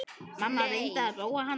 Mamma reyndi að róa hana.